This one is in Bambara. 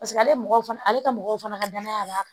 Paseke ale mɔgɔw fana ale ka mɔgɔw fana ka danaya b'a kan